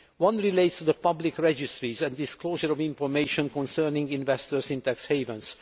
One relates to the public registries and disclosure of information concerning investors in tax havens.